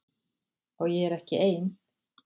Og ég er ekki ein.